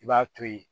I b'a to yen